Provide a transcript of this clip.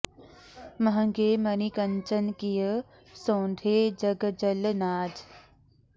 महँगे मनि कंचन किए सौंधे जग जल नाज